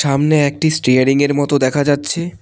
সামনে একটি স্টিয়ারিং -এর মত দেখা যাচ্ছে।